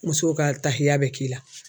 Musow ka tahiya bɛ k'i la.